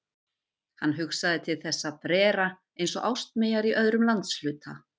Hann hugsaði til þessa frera eins og ástmeyjar í öðrum landshluta.